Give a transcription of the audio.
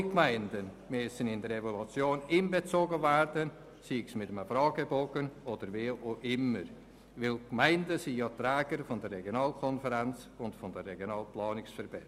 Weil die Gemeinden die Träger der Regionalkonferenzen und Regionalplanungsverbände sind, müssen alle Gemeinden in die Evaluation einbezogen werden, sei es mit einem Fragebogen oder auf eine andere Art.